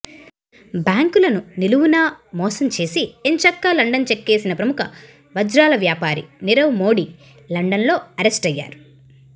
బ్యాంకులను నిలువునా మోసం చేసి ఎంచక్కా లండన్ చెక్కేసిన ప్రముఖ వజ్రాల వ్యాపారి నీరవ్ మోడీ లండన్ లో అరెస్టయ్యారు